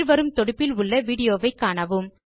கீழ் வரும் தொடுப்பில் விடியோவை காணவும்